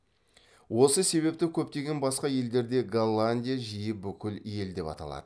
осы себепті көптеген басқа елдерде голландия жиі бүкіл ел деп аталады